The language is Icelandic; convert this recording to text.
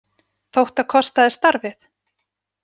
Þótt það kostaði starfið?